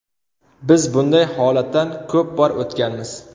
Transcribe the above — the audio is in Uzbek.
Biz bunday holatdan ko‘p bor o‘tganmiz.